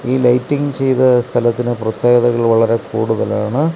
ഈ ലൈറ്റിംഗ് ചെയ്ത സ്ഥലത്തിന് പ്രത്യേകതകൾ വളരെ കൂടുതലാണ്.